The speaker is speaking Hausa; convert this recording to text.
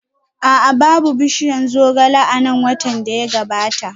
A'a, babu bishiyar zogale a nan watan da ya gabata